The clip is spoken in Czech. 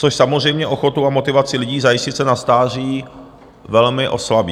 Což samozřejmě ochotu a motivaci lidí zajistit se na stáří velmi oslabí.